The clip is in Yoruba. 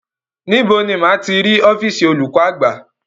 Níbo ni máa ti rí ọ́fììsì olùkọ́ àgbà?